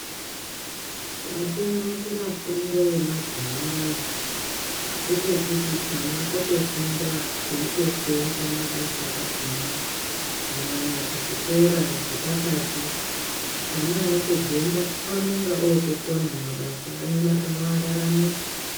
Chatonakira fundo yemazuva anaya ndechekuti ana otofunda eyitosenza mabasa akona kunyanya kuzvikora zvepakati ana eitobvemo anonga otokona mabasa anoararamisa.